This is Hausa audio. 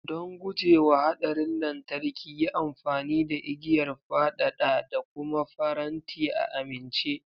Don guje wa haɗarin lantarki, yi amfani da igiyar fadada da kuma faranti a amince.